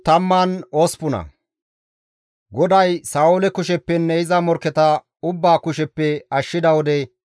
Abeet GODAWU! Ne taas wolqqa immida gishshas ta nena siiqays.